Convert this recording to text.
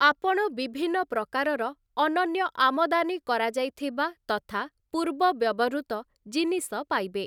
ଆପଣ ବିଭିନ୍ନ ପ୍ରକାରର ଅନନ୍ୟ ଆମଦାନୀ କରାଯାଇଥିବା ତଥା ପୂର୍ବ ବ୍ୟବହୃତ ଜିନିଷ ପାଇବେ ।